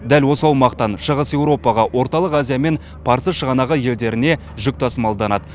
дәл осы аумақтан шығыс еуропаға орталық азия мен парсы шығанағы елдеріне жүк тасымалданады